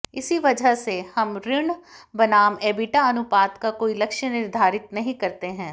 इसी वजह से हम ऋण बनाम एबिटा अनुपात का कोई लक्ष्य निर्धारित नहीं करते हैं